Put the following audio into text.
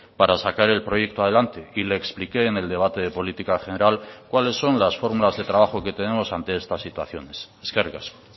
para sacar el proyecto adelante y le expliqué en el debate de política general cuáles son las fórmulas de trabajo que tenemos ante estas situaciones eskerrik asko